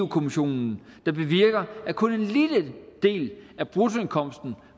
kommissionen der bevirker at kun en lille del af bruttoindkomsten